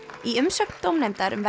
í umsögn dómnefndar um